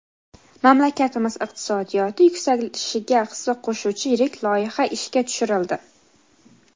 Mamlakatimiz iqtisodiyoti yuksalishiga hissa qo‘shuvchi yirik loyiha ishga tushirildi!.